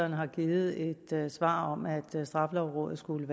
har givet et svar om at straffelovrådet skulle